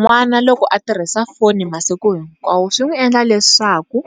N'wana loko a tirhisa foni masiku hinkwawo swi n'wi endla leswaku